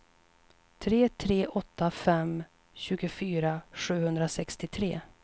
tre tre åtta fem tjugofyra sjuhundrasextiotre